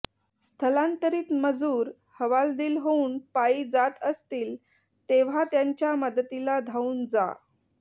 स्थलांतरित मजूर हवालदिल होऊन पायी जात असतील तेव्हा त्यांच्या मदतीला धावून जा